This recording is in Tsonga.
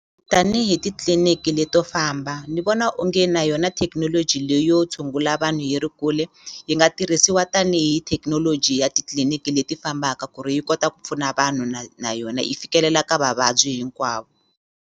Tanihi titliliniki leto famba ni vona onge na yona thekinoloji leyo tshungula vanhu yi ri kule yi nga tirhisiwa tanihi thekinoloji ya titliliniki leti fambaka ku ri yi kota ku pfuna vanhu na na yona yi fikelela ka vavabyi hinkwavo.